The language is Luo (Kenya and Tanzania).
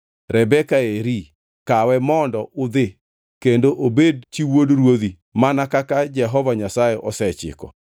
Rebeka eri; kawe mondo udhi, kendo obed chi wuod ruodhi, mana kaka Jehova Nyasaye osechiko.”